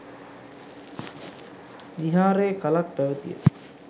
විහාරයේ කලක් පැවැතිය